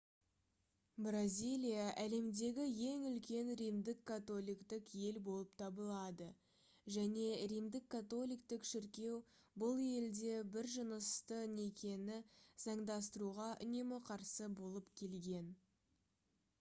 бразилия әлемдегі ең үлкен римдік католиктік ел болып табылады және римдік католиктік шіркеу бұл елде бір-жынысты некені заңдастыруға үнемі қарсы болып келген